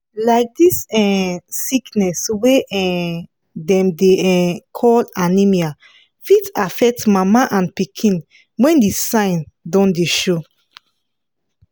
like this um sickness wey um dem dey um call anaemia fit affect mama and pikin when the sign don dey show